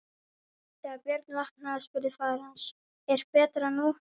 Þegar Björn vaknaði spurði faðir hans: Er betra nú?